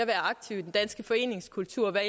aktiv i den danske foreningskultur hvad